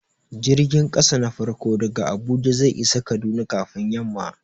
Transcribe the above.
Jirgin ƙasa na farko daga Abuja zai isa Kaduna kafin yamma.